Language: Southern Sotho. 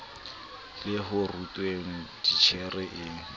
le ho rutweng titjhere e